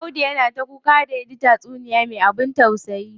Audu yana ta kuka da yaji taysuniya me abin tausayi.